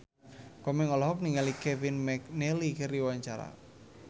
Komeng olohok ningali Kevin McNally keur diwawancara